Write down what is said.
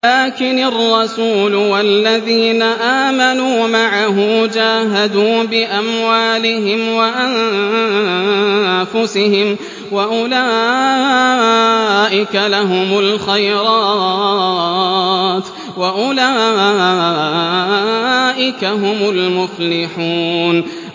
لَٰكِنِ الرَّسُولُ وَالَّذِينَ آمَنُوا مَعَهُ جَاهَدُوا بِأَمْوَالِهِمْ وَأَنفُسِهِمْ ۚ وَأُولَٰئِكَ لَهُمُ الْخَيْرَاتُ ۖ وَأُولَٰئِكَ هُمُ الْمُفْلِحُونَ